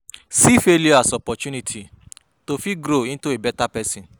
See failure as opportunity to fit grow into a better person